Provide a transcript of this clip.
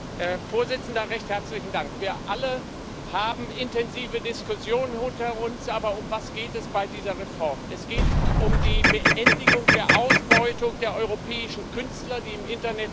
Herr Präsident! Wir alle haben intensive Diskussionen hinter uns, aber um was geht es bei dieser Reform? Es geht um die Beendigung der Ausbeutung der europäischen Künstler, die im Internet stattfindet.